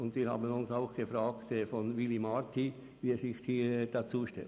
Auch haben wir uns im Fall von Willy Marti gefragt, wie er sich dazu stellt.